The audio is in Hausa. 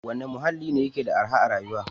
Wane muhalli ne yake da arhar rayuwa?